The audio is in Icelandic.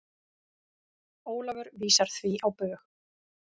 Ólafur vísar því á bug.